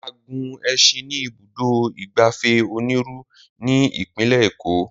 A gun ẹṣin ní ibùdó ìgbafẹ́ Oniru ní Ìpínlẹ̀ Eko